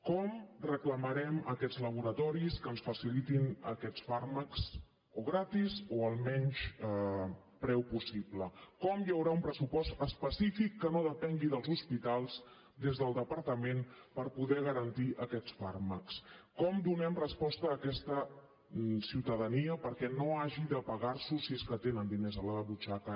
com reclamarem a aquests laboratoris que ens facilitin aquests fàrmacs o gratis o al menys preu possible com hi haurà un pressupost específic que no depengui dels hospitals des del departament per poder garantir aquests fàrmacs com donem resposta a aquesta ciutadania perquè no hagi de pagars’ho si és que tenen diners a la butxaca